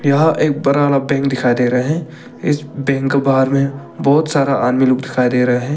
यह एक बड़ा वाला बैंक दिखा दे रहे हैं इस बैंक बाहर में बहुत सारा आदमी लोग दिखाई दे रहे हैं।